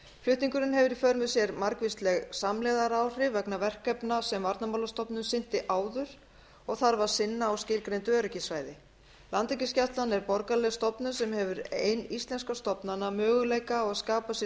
flutningur landhelgisgæslunnar á suðurnes mundi hafa í för með sér margvísleg samlegðaráhrif vegna verkefna sem varnarmálastofnun sinnti áður og þarf að sinna á öryggissvæðinu á reykjanesi landhelgisgæslan er borgaraleg stofnun sem hefur ein íslenskra stofnana möguleika á því að skapa sér